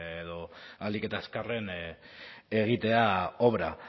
edo ahalik eta azkarren egitea obra